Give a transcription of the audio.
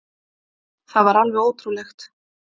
Það var alveg ótrúlegt